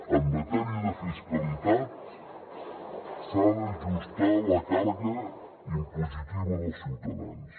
en matèria de fiscalitat s’ha d’ajustar la càrrega impositiva dels ciutadans